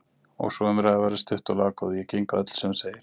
Og sú umræða verður stutt og laggóð:-Ég geng að öllu sem þú segir!